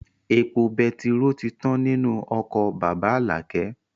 Epo betiró tí tán nínú ọkọ̀ bàbá Alakẹ